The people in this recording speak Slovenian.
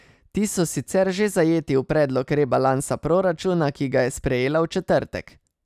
Ti so sicer že zajeti v predlog rebalansa proračuna, ki ga je sprejela v četrtek.